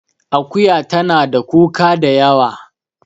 Akuya tana da kuka da yawa